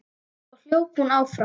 Svo hljóp hún áfram.